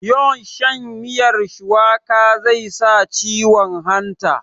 yawn shan miyar shuwaka zai sa ciwon hanta